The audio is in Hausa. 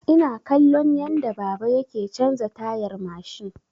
Ina kallon yadda baba yake canza tayar mashin.